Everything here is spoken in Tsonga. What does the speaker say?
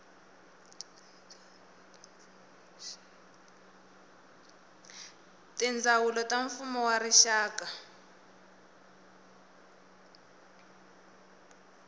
tindzawulo ta mfumo wa rixaka